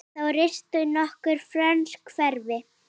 Þá risu nokkur frönsk hverfi.